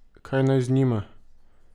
Kaj naj z njima?